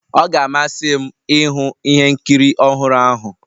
Ọ ga-amasị m ịhụ ihe nkiri ọhụrụ ahụ